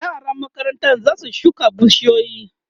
yaran makarantan zasu shuka bishiyoyi